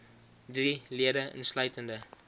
drie lede insluitende